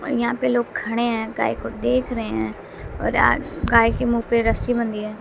और यहां पे लोग खड़े हैं गाय को देख रहे हैं और आ गाय के मुंह पे रस्सी बंधी है।